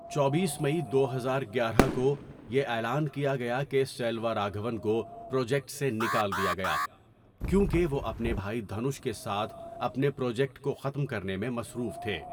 چوبیس مئی دو ہزار گیارہ کو، یہ اعلان کیا گیا کہ سیلوارگھون کو پروجیکٹ سے نکال دیا گیا، کیونکہ وہ اپنے بھائی دھنوش کے ساتھ اپنے پروجیکٹ کو ختم کرنے میں مصروف تھے.